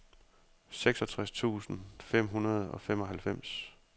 seksogtres tusind fem hundrede og femoghalvfems